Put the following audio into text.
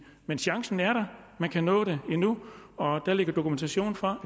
men chancen er der man kan nå det endnu og der ligger dokumentation for